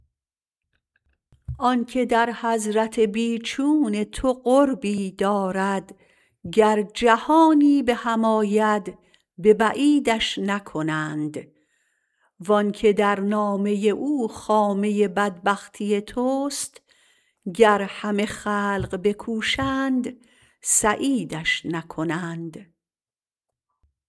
آنکه در حضرت بیچون تو قربی دارد گر جهانی به هم آید به بعیدش نکنند وآنکه در نامه او خامه بدبختی تست گر همه خلق بکوشند سعیدش نکنند